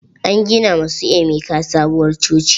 An gina ma su emeka sabuwar coci.